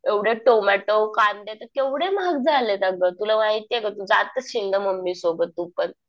एवढे टोमॅटो, कांदे तर केवढे महाग झालेत अगं. तुला माहितीये का? तू जात असशील ना मम्मी सोबत तू पण.